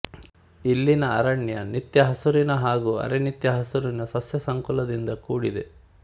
ಇಲ್ಲಿನ ಅರಣ್ಯ ನಿತ್ಯಹಸುರಿನ ಹಾಗೂ ಅರೆನಿತ್ಯಹಸುರಿನ ಸಸ್ಯ ಸಂಕುಲದಿಂದ ಕೂಡಿದೆ